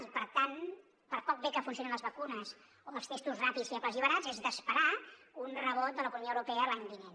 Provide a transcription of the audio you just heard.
i per tant per poc bé que funcionin les vacunes o els testos ràpids fibles i barats és d’esperar un rebot de l’economia europea l’any vinent